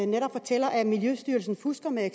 netop fortæller at miljøstyrelsen fusker med